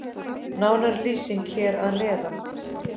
Nánari lýsing hér að neðan.